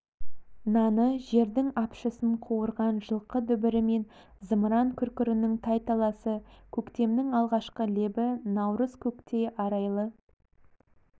наны жердің апшысын қуырған жылқы дүбірі мен зымыран күркірінің тайталасы көктемнің алғашқы лебі наурызкөктей арайлы